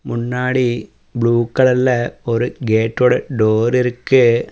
முன்னாடி ப்ளூ கலர்ல ஒரு கேட்டோட டோர் இருக்கு.